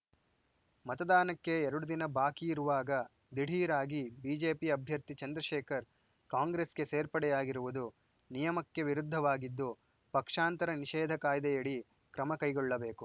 ಮತದಾನಕ್ಕೆ ಎರಡು ದಿನ ಬಾಕಿ ಇರುವಾಗ ದಿಢೀರ್‌ ಆಗಿ ಬಿಜೆಪಿ ಅಭ್ಯರ್ಥಿ ಚಂದ್ರಶೇಖರ್‌ ಕಾಂಗ್ರೆಸ್‌ಗೆ ಸೇರ್ಪಡೆಯಾಗಿರುವುದು ನಿಯಮಕ್ಕೆ ವಿರುದ್ಧವಾಗಿದ್ದು ಪಕ್ಷಾಂತರ ನಿಷೇಧ ಕಾಯ್ದೆಯಡಿ ಕ್ರಮ ಕೈಗೊಳ್ಳಬೇಕು